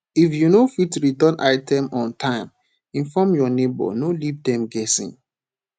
if you no fit return item on time inform your neighbor no leave dem guessing